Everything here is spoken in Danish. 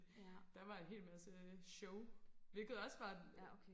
der var en hel masse sjov hvilket også var